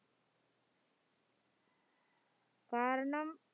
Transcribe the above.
കാരണം